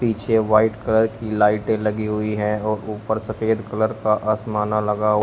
पीछे white colour की लाइटें लगी हुई हैं और ऊपर सफेद कलर का आसमाना लगा--